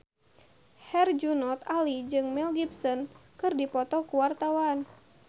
Herjunot Ali jeung Mel Gibson keur dipoto ku wartawan